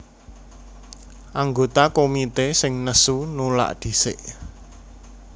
Anggota komité sing nesu nulak dhisik